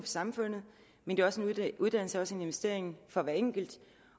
samfundet men at uddannelse også er en investering for den enkelte